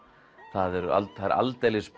það eru það eru aldeilis